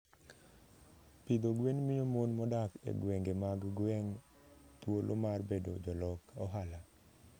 Pidho gwen miyo mon modak e gwenge mag gweng' thuolo mar bedo jolok ohala.